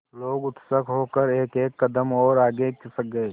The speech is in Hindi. लोग उत्सुक होकर एकएक कदम और आगे खिसक गए